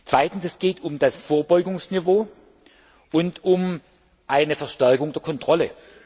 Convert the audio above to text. Zweitens, es geht um das Vorbeugungsniveau und um eine Verstärkung der Kontrolle.